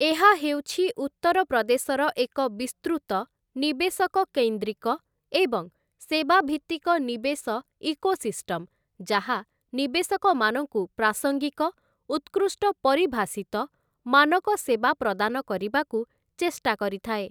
ଏହା ହେଉଛି ଉତ୍ତରପ୍ରଦେଶର ଏକ ବିସ୍ତୃତ, ନିବେଶକ କୈନ୍ଦ୍ରିକ ଏବଂ ସେବା ଭିତ୍ତିକ ନିବେଶ ଇକୋସିଷ୍ଟମ ଯାହା ନିବେଶକମାନଙ୍କୁ ପ୍ରାସଙ୍ଗିକ, ଉତ୍କୃଷ୍ଟ ପରିଭାଷିତ, ମାନକ ସେବା ପ୍ରଦାନ କରିବାକୁ ଚେଷ୍ଟା କରିଥାଏ ।